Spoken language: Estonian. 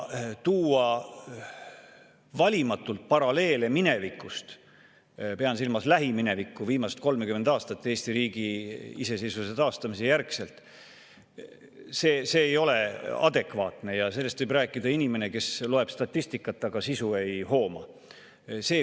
Tuua valimatult paralleele minevikust – pean silmas lähiminevikku, viimast 30 aastat Eesti riigi iseseisvuse taastamise järgselt – ei ole adekvaatne ja sellest võib rääkida inimene, kes loeb statistikat, aga sisu ei hooma.